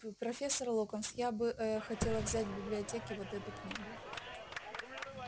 п профессор локонс я бы э-э хотела взять в библиотеке вот эту книгу